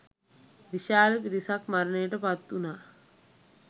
විශාල පිරිසක් මරණයට පත් වුණා